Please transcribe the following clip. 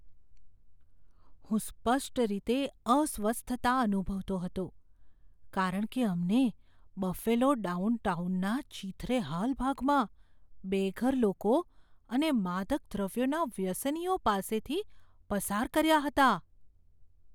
હું સ્પષ્ટ રીતે અસ્વસ્થ અનુભવતો હતો કારણ કે અમે બફેલો ડાઉનટાઉનના ચીંથરેહાલ ભાગમાં બેઘર લોકો અને માદક દ્રવ્યોના વ્યસનીઓ પાસેથી પસાર કર્યા હતા.